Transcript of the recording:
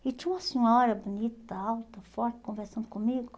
E tinha uma senhora bonita, alta, forte, conversando comigo.